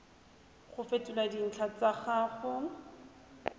go fetola dintlha tsa gago